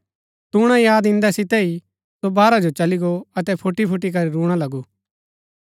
तूणा याद ईन्दै सितै ही सो बाहरा जो चली गो अतै फुटीफुटी करी रूणा लगू